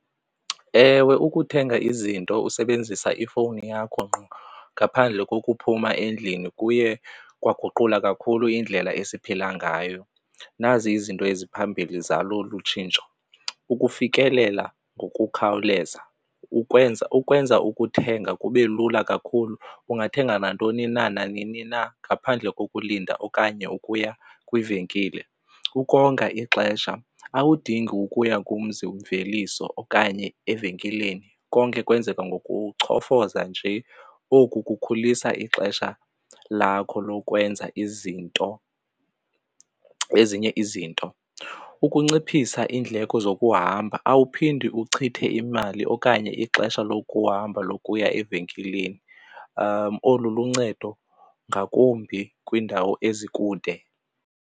Ewe, ukuthenga izinto usebenzisa ifowuni yakho ngqo ngaphandle kokuphuma endlini kuye waguqula kakhulu indlela esiphila ngayo. Nazi izinto eziphambili zalo olu tshintsho, ukufikelela ngokukhawuleza kukwenza ukwenza ukuthenga kube lula kakhulu ungathenga nantoni na nanini na ngaphandle kokulinda okanye ukuya kwivenkile. Ukonga ixesha, awudingi ukuya kumzi mveliso okanye evenkileni konke kwenzeka ngokucofoza nje, oku kukhulisa ixesha lakho lokwenza izinto, ezinye izinto. Ukunciphisa iindleko zokuhamba, awuphindi uchithe imali okanye ixesha lokuhamba lokuya evenkileni. Olu luncedo ngakumbi kwiindawo ezikude.